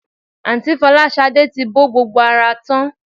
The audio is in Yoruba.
Àǹtí Fọláṣadé ti bọ́ gbogbo ara tán